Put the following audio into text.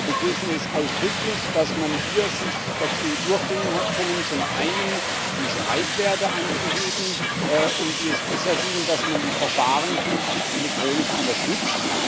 Wir begrüßen es ausdrücklich, dass man sich hier dazu hat durchringen können, zum einen die Streitwerte anzuheben, um die es bisher ging, und dass man die Verfahren künftig elektronisch unterstützt.